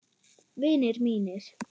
Vinir mínir.